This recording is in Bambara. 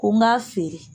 Ko n k'a feere